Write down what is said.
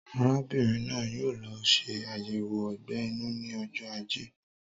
Arábìnrin náà yóò lọ ṣe ayẹwo ogbè inú ní ojó ajé